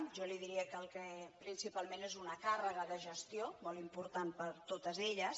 jo li diria que principalment és una càrrega de gestió molt important per a totes elles